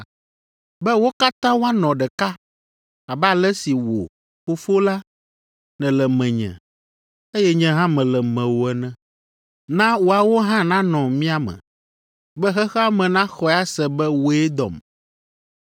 be wo katã woanɔ ɖeka abe ale si wò, Fofo la, nèle menye, eye nye hã mele mewò ene. Na woawo hã nanɔ mía me, be xexea me naxɔe ase be wòe dɔm.